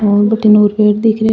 और भटीने पेड़ दिखरे।